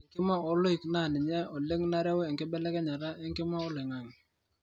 ore enkima oloik na ninye oleng nareu enkibelekenya enkima oloingangi